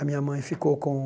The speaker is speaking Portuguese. A minha mãe ficou com